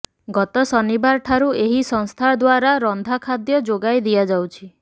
ଗତ ଶନିବାର ଠାରୁ ଏହି ସଂସ୍ଥା ଦ୍ୱାରା ରନ୍ଧା ଖାଦ୍ୟ ଯୋଗାଇ ଦିଆଯାଉଛି